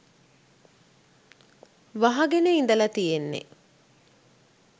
වහගෙන ඉඳලා තියෙන්නේ.